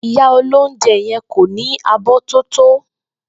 Ìyá olóúnje̩ ye̩n kò ní abó̩ tó tó